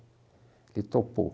Ele topou.